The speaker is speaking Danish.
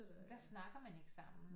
Der snakker man ikke sammen